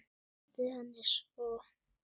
Gleymdi henni svo.